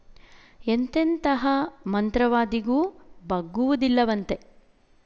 ಎಂತೆಂತಹ ಮಂತ್ರವಾದಿಗೂ ಬಗ್ಗುವುದಿಲ್ಲವಂತೆ